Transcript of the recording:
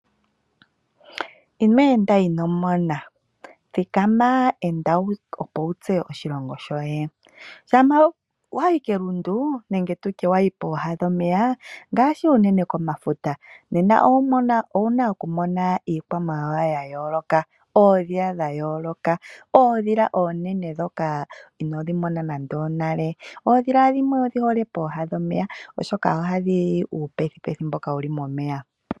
Ino enda ino mona thikama enda, opo wutseye oshilongo shoye shapa wayi pelundu nenge tutye pooha dhomeya ngashi unene komafuta, Nena oowuna okumona iikwamawawa yayoloka oodhila dhayoloka, oodhila onene dhoka inodhimona nande onale, oodhila dhimwe odhihole pooha dhomeya oshoka ohadhili uupethupethu mboka wuli momeya .